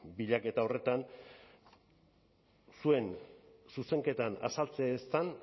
bilaketa horretan zuen zuzenketan azaltzen ez den